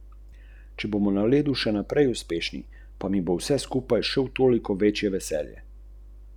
Zdaj dobro poznam to pravilo in napaka se mi ne bi smela ponoviti.